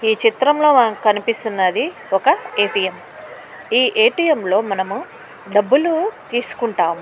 ఈ చిత్రంలో మనకు కనిపిస్తున్నది ఒక ఏటీఎం . ఈ ఏటీఎం లో ఏటీఎం లో మనము డబ్బులు తీసుకుంటాము.